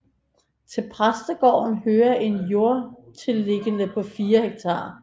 Til præstegården hører et jordtilliggende på 4 ha